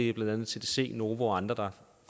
er blandt andet tdc novo nordisk og andre der